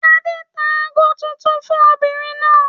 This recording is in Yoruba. Adé tá ago tuntun fún obìnrin náà.